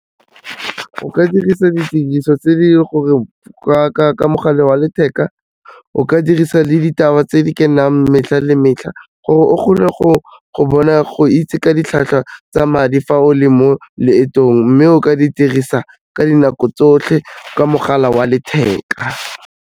O ka dirisa didiriso tse di ka mogala wa letheka, o ka dirisa le ditaba tse di kenang metlha le metlha, gore o kgone go bona go itse ka ditlhwatlhwa tsa madi fa o le mo leetong, mme o ka dirisa ka dinako tsotlhe ka mogala wa letheka.